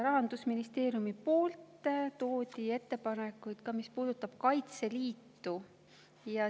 Rahandusministeerium tõi ettepanekud, mis puudutavad Kaitseliitu.